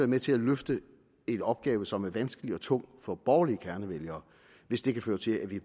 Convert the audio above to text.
med til at løfte en opgave som er vanskelig og tung for borgerlige kernevælgere hvis det kan føre til at vi